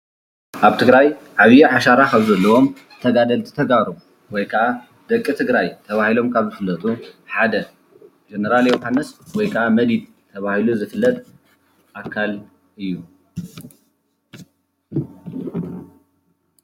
ኣብ ትግራይ ዓይዪ ዓሻራ ካብ ዘለዎም ተጋደልቲ ተጋሩ ወይ ከዓ ደቂ ትግራይ ተባሂሎም ካብ ዝፍለጡ ሓደ ጀነራል ዮሃንስ ወይ ከዓ መዲድ ተባሂሉ ዝፍለጥ ኣካል እዩ፡፡